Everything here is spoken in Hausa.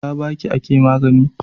Ta Baki ake magAna